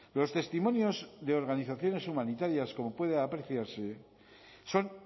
los testimonios de organizaciones humanitarias como puede apreciarse son